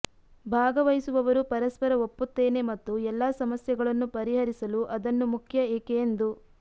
ಭಾಗವಹಿಸುವವರು ಪರಸ್ಪರ ಒಪ್ಪುತ್ತೇನೆ ಮತ್ತು ಎಲ್ಲಾ ಸಮಸ್ಯೆಗಳನ್ನು ಪರಿಹರಿಸಲು ಅದನ್ನು ಮುಖ್ಯ ಏಕೆ ಎಂದು